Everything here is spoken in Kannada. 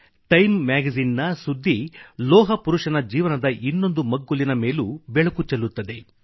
ಟೈಮ್ ಮ್ಯಾಗಜಿನ್ ನ ಸುದ್ದಿ ಲೋಹ ಪುರುಷನ ಜೀವನದ ಇನ್ನೊಂದು ಮಗ್ಗುಲಿನ ಮೇಲೂ ಬೆಳಕು ಚೆಲ್ಲುತ್ತದೆ